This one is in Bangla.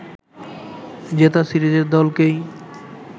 জেতা সিরিজের দলকেই